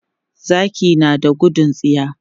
Zaki na da gudun tsiya.